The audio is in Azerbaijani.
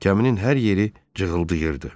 Kəminin hər yeri cığıldayırdı.